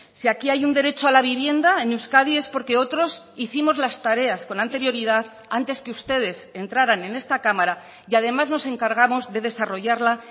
si aquí hay un derecho a la vivienda en euskadi es porque otros hicimos las tareas con anterioridad antes que ustedes entraran en esta cámara y además nos encargamos de desarrollarla